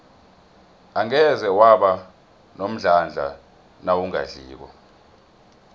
angeze waba nomdlandla nawungadliko